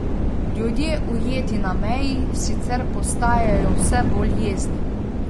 Ljudje, ujeti na meji, sicer postajajo vse bolj jezni.